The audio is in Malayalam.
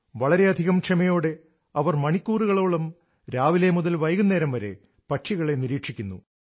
വളരെയധികം ക്ഷമയോടെ അവർ മണിക്കൂറുകളോളം രാവിലെ മുതൽ വൈകുന്നേരം വരെ പക്ഷികളെ നിരീക്ഷിക്കുന്നു